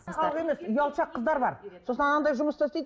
ұялшақ қыздар бар сосын анандай жұмыста істейді